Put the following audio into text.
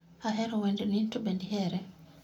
Ahero wendni in to bende ihere